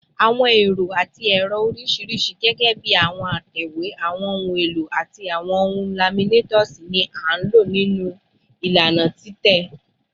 Awọn ẹrọ ati ẹrọ oriṣiriṣi, gẹgẹbi awọn atẹwe, awọn ohun elo, ati awọn laminators, ni a lo ninu ilana titẹ